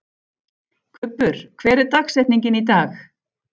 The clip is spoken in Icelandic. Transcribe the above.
Kubbur, hver er dagsetningin í dag?